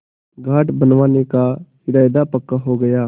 घाट बनवाने का इरादा पक्का हो गया